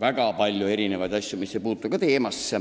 väga palju ka asjadest, mis ei puutu teemasse.